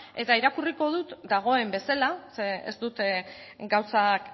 eta irakurriko dut dagoen bezala ze ez dut gauzak